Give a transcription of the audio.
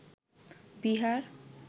Bihar